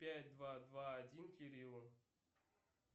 пять два два один кириллу